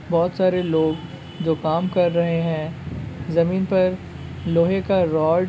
बोहोत सारे लोग जो काम कर रहे हैं | जमीन पर लोहे का रॉड --